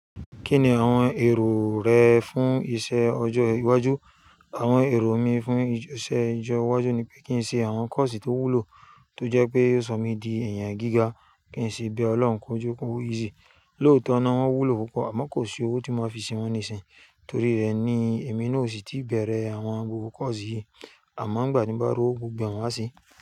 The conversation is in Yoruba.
Kí ni àwon èrò re fún isé ọjọ́ iwájú? Awon èrò mi fún isé ọjọ́ iwájú nipé kín se àwon kọ́ọ̀sì tó wúlò tó jẹ́ pé yóò sọ mí di èèyàn gíga. Kí n si bẹ́ẹ̀, Ọlọ́run kó jókòó. Easy, lóòótọ́ ná wọ́n wúlò púpọ̀ àmọ́ kò sí owó tí máa fi se wón nísìnyí. Torí rẹ ni èmi náà ò sì tí bẹ̀rẹ̀ àwon gbogbo kọ́ọ̀sì yìí. Àmọ́ ìgbà tí nbá r'owó gbogbo e màá ṣe.